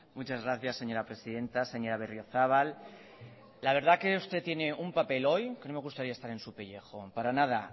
muchas gracias señora presidenta señora barriozabal la verdad que usted tiene un papel hoy que no me gustaría estar en su pellejo para nada